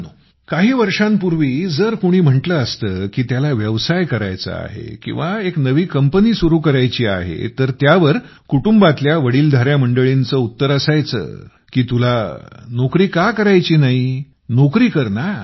मित्रांनो काही वर्षांपूर्वी जर कुणी म्हटले असतं की त्याला व्यवसाय करायचा आहे किंवा एक नवी कंपनी सुरु करायची आहे तर त्यावर कुटुंबातील वडीलधाऱ्यामंडळींचे उत्तर असायचं की तुला नोकरी का करायची नाही नोकरी कर